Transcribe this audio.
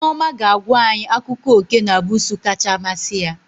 Nneoma ga-agwa anyị akụkọ oké na busuu kacha masị ya